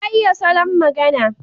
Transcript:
Ya iya salon magana.